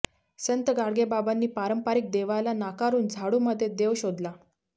संत गाडगेबाबांनी पारंपरिक देवाला नाकारून झाडूमध्ये देव शोधला